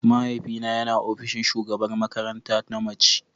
Mahaifina yana ofishin shugabar makaranta na mace.